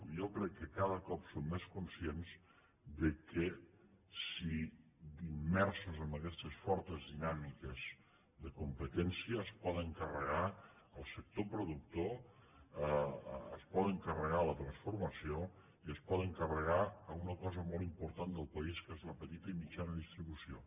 jo crec que cada cop són més conscients que immersos en aguestes fortes dinàmiques de competència es poden carregar el sector productor es poden carregar la transformació i es poden carregar una cosa molt important del país que és la petita i mitjana distribució